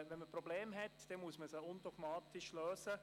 Wenn man Probleme hat, muss man sie undogmatisch lösen.